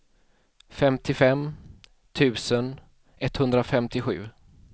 femtiofem tusen etthundrafemtiosju